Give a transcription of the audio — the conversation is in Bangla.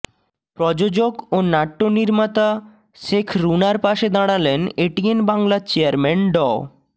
প্রযোজক ও নাট্য নির্মাতা শেখ রুনার পাশে দাঁড়ালেন এটিএন বাংলার চেয়ারম্যান ড